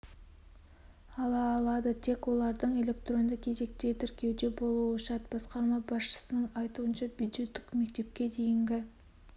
ала алады тек олардың электронды кезекте тіркеуде болуы шарт басқарма басшысының айтуынша бюджеттік мектепке дейінгі